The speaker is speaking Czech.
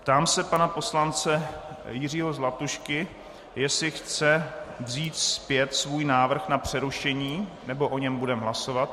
Ptám se pana poslance Jiřího Zlatušky, jestli chce vzít zpět svůj návrh na přerušení, nebo o něm budeme hlasovat.